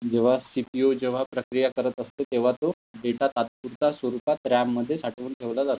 जेव्हा सीपीयू जेव्हा प्रक्रिया करत असते तेव्हा तो डेटा तात्पुरता स्वरूपात रेम मध्ये साठवून ठेवला जातो.